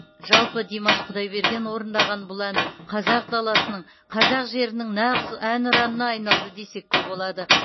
жалпы димаш құдайберген орындаған бұл ән қазақ даласының қазақ жерінің нағыз әнұранына айналды десек те болады